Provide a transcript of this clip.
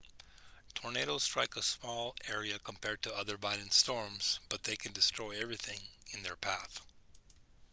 tornadoes strike a small area compared to other violent storms but they can destroy everything in their path